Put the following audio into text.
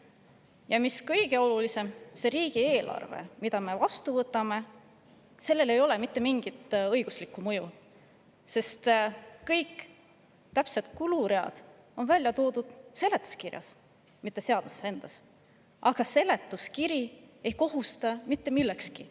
Ja mis kõige olulisem, sellel riigieelarvel, mille me vastu võtame, ei ole mitte mingit õiguslikku mõju, sest kõik täpsemad kuluread on välja toodud seletuskirjas, mitte seaduses endas, aga seletuskiri ei kohusta mitte millekski.